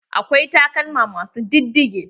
Akwai takalma ma su diddige.